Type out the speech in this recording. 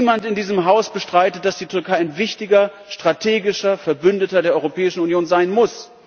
Niemand in diesem Haus bestreitet, dass die Türkei ein wichtiger strategischer Verbündeter der Europäischen Union sein muss.